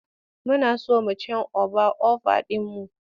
Muna so mu cen oba over ɗin mu.